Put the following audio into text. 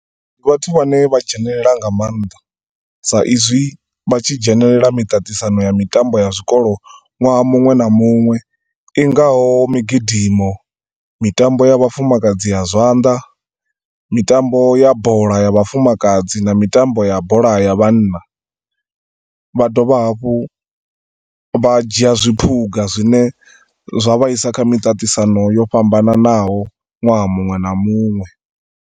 Ndi vhathu vhane vha dzhenelela nga maanḓa sa izwi vhatshi dzhenelela miṱaṱisano ya mitambo ya zwikolo ṅwaha muṅwe na muṅwe ingaho migidimo, mitambo ya vhafumakadzi ya zwanḓa, mitambo ya bola ya vhafumakadzi, na mitambo ya bola ya vhanna. Vha dovha hafhu vha dzhia zwiphuga zwine zwa vhaisa kha miṱaṱisano yo fhambananaho ṅwaha muṅwe na muṅwe.